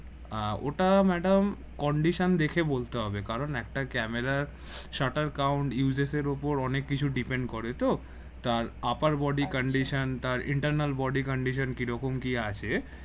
আহ ওটা madam condition দেখে বলতে হবে কারণ একটা ক্যামেরার shutter count uses এর উপর অনেক কিছু depend করে তো তার upper body condition তার internal body condition কি রকম কি আছে